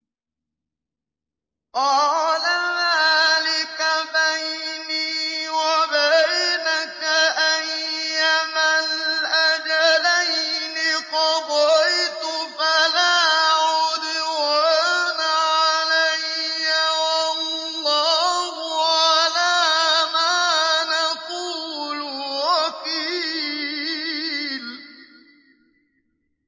قَالَ ذَٰلِكَ بَيْنِي وَبَيْنَكَ ۖ أَيَّمَا الْأَجَلَيْنِ قَضَيْتُ فَلَا عُدْوَانَ عَلَيَّ ۖ وَاللَّهُ عَلَىٰ مَا نَقُولُ وَكِيلٌ